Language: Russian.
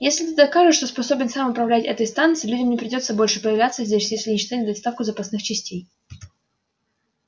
если ты докажешь что способен сам управлять этой станцией людям не придётся больше появляться здесь если не считать доставку запасных частей